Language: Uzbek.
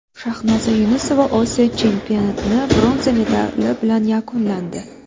Shahnoza Yunusova Osiyo chempionatini bronza medali bilan yakunlandi.